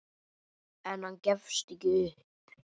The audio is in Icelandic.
En hann gefst ekki upp.